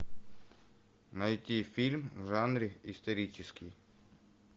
найти фильм в жанре исторический